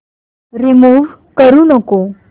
remove करू नको